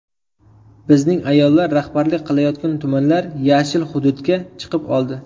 Bizning ayollar rahbarlik qilayotgan tumanlar ‘yashil’ hududga chiqib oldi.